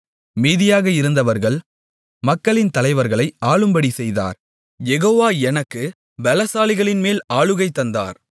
மீதியாக இருந்தவர்கள் மக்களின் தலைவர்களை ஆளும்படி செய்தார் யெகோவா எனக்குப் பெலசாலிகளின்மேல் ஆளுகை தந்தார்